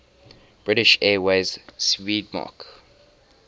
british airways 'speedmarque